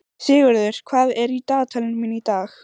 Sigurður, hvað er í dagatalinu mínu í dag?